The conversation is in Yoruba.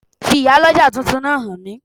Fi Ìyálọ́jà tuntun náà hàn mí